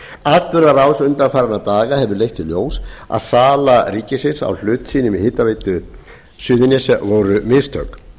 atburðarás undanfarinna daga hefur leitt í ljós að sala ríkisins á hlut sínum í hitaveitu suðurnesja voru mistök